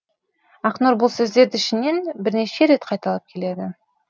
ақнұр бұл сөздерді ішінен бірнеше рет қайталап келеді